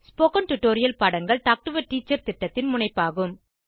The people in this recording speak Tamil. ஸ்போகன் டுடோரியல் பாடங்கள் டாக் டு எ டீச்சர் திட்டத்தின் முனைப்பாகும்